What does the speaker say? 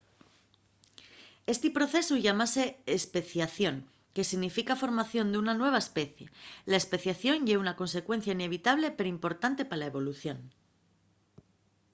esti procesu llámase especiación que significa formación d'una nueva especie la especiación ye una consecuencia inevitable perimportante pa la evolución